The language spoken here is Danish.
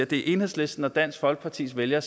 det er enhedslistens og dansk folkepartis vælgere